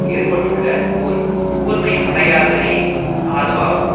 ஏற்பட்டுள்ள ஒரு கூர்மையடையாதலே அதுவாகும்